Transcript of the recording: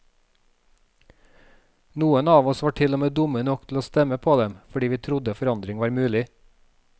Noen av oss var til og med dumme nok til å stemme på dem, fordi vi trodde forandring var mulig.